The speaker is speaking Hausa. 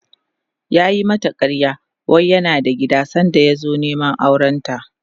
yayi mata ƙarya wai yana da gida sanda ya zo Neman aurenta